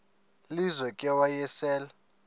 lizo ke wayesel